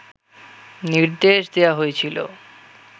নির্দেশ দেয়া হয়েছিল